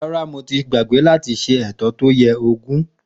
Ràrá, mó tì gbàgbẹ àtí sẹ ẹtọ tó yẹ ògún.